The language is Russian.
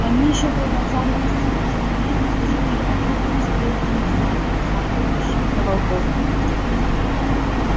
они ещё продолжали расти но тем не менее уже были огромными свирепыми псами смахивающими на волков